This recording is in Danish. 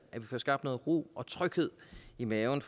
få skabt noget ro og tryghed i maven